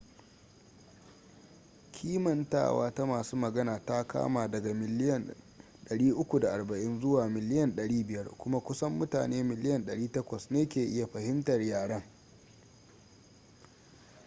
kimantawa ta masu magana ta kama daga miliyan 340 zuwa miliyan 500 kuma kusan mutane miliyan 800 ne ke iya fahimtar yaren